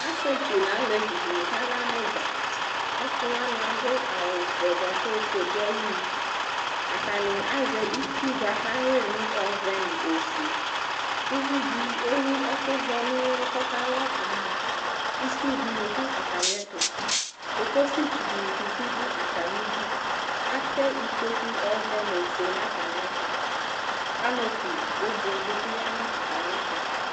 Asιetsu nʋ alevi dιnι kala nʋ ιdza, asι wanι adʋ awʋ vɛ buakʋ ofue dʋ ayι inu, atanι azɛ itsuu bʋa kʋ awyι yι nʋ ɔɔvɛ nʋ ofue Uvi dι ewu ɛkʋ vɛ nʋ ʋli kʋ ɔkala kaamɔItsuu dιnι dʋ atamι ɛtʋ Kokosi tsu dιnι bι dʋ atamι idu Atɛ ikpoku ɔɔvɛ nʋ ofuenʋ atamι ɛtʋ Kanopi gbogblo dι bιya nʋ atamι ɛtʋ